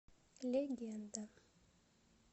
легенда